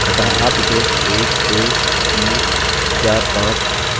अतः आप इसे एक दो तीन चार पाँच सोच सकते हैं